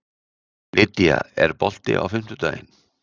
Lýdía, er bolti á fimmtudaginn?